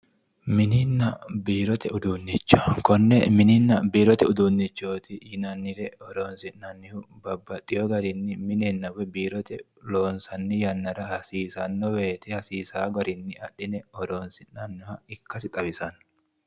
Mininna biirote uduunnicho konne mininna biirote uduunnichooti yinannire horoonsi'nannihu babbaxxewo garinni minenna woyi biirote loonsanni yannara hasiisanno woyite hasiissawo garinni adhine horoonsi'nanniha ikkasi xawisanno